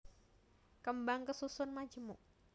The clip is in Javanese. Kembang kasusun majemuk